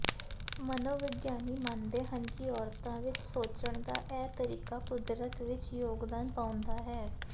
ਮਨੋਵਿਗਿਆਨੀ ਮੰਨਦੇ ਹਨ ਕਿ ਔਰਤਾਂ ਵਿੱਚ ਸੋਚਣ ਦਾ ਇਹ ਤਰੀਕਾ ਕੁਦਰਤ ਵਿੱਚ ਯੋਗਦਾਨ ਪਾਉਂਦਾ ਹੈ